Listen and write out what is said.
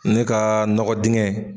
Ne ka nɔgɔ dinkɛ.